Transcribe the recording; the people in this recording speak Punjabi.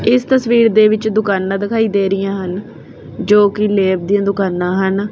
ਇਸ ਤਸਵੀਰ ਦੇ ਵਿੱਚ ਦੁਕਾਨਾ ਦਿਖਾਈ ਦੇ ਰਹਿਆ ਹਨ ਜੋ ਕਿ ਲੈਬ ਦੀਆਂ ਦੁਕਾਨਾਂ ਹਨ।